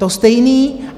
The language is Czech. To stejné.